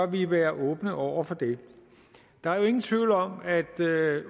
vi være åbne over for det der er jo ingen tvivl om at